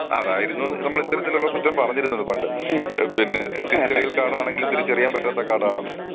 അതായിരുന്നു നമ്മൾ ഇത്തരത്തിലുള്ള ഒരു കുറ്റം പറഞ്ഞിരുന്നത് പണ്ട്. പിന്നെ തിരിച്ചറിയൽ കാർഡ് ആണെങ്കിലും തിരിച്ചറിയാൻ പറ്റാത്ത കാർഡ് ആണെന്ന്.